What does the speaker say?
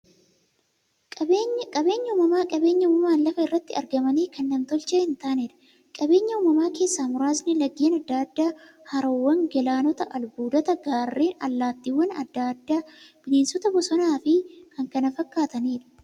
Qaabeenyi uumamaa qabeenya uumamaan lafa irratti argamanii, kan nam-tolchee hintaaneedha. Qabeenya uumamaa keessaa muraasni; laggeen adda addaa, haroowwan, galaanota, albuudota, gaarreen, allattiiwwan adda addaa, bineensota bosonaa, bosonafi kanneen kana fakkataniidha.